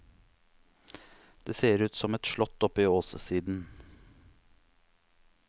Det ser ut som et slott oppe i åssiden.